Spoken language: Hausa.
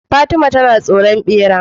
Fatima na tsoron bera